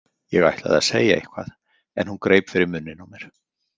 Ég ætlaði að segja eitthvað en hún greip fyrir munninn á mér.